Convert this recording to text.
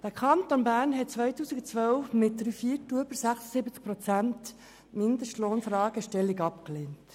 Der Kanton Bern hat im Jahr 2012 mit über 76 Prozent die Fragestellung des Mindestlohnes abgelehnt.